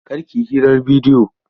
Kar ki yi hirar bidiyo!